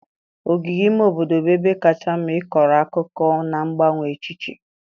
Ogige ime obodo bụ ebe kacha mma ịkọrọ akụkọ na mgbanwe echiche.